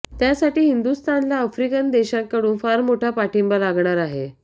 त्यासाठी हिंदुस्थानला आफ्रिकन देशांकडून फार मोठा पाठिंबा लागणार आहे